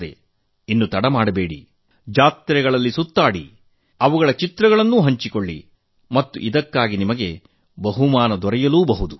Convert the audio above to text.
ಹಾಗಿದ್ದರೆ ಇನ್ನು ತಡ ಮಾಡಬೇಡಿ ಜಾತ್ರೆಗಳಲ್ಲಿ ಸುತ್ತಾಡಿ ಅವುಗಳ ಚಿತ್ರಗಳನ್ನು ಹಂಚಿಕೊಳ್ಳಿ ಮತ್ತು ಇದಕ್ಕಾಗಿ ನಿಮಗೆ ಬಹುಮಾನ ಲಭಿಸಲೂ ಬಹುದು